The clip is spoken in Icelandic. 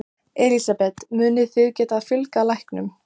Elísabet: Munið þið geta fjölgað læknum?